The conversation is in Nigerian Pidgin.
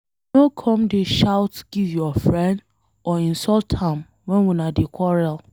No come dey shout give your friend or insult am wen una dey quarrel.